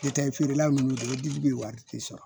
N'o tɛ feerelaw ni fɛnɛ ji bɛ wari tɛ sɔrɔ